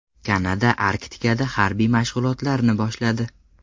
Kanada Arktikada harbiy mashg‘ulotlarni boshladi.